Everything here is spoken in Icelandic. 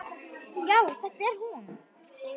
Já, þetta er hún.